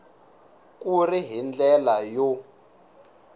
ku ri hi ndlela yo